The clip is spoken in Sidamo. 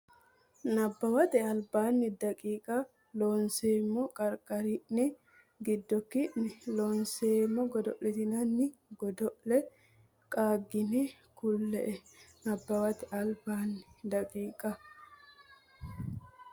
Nabbawate Albaanni daqiiqa Loonseemmo qarqari ne giddo ki ne Loonseemmo godo litinanni godo le qaaggine kule e Nabbawate Albaanni daqiiqa.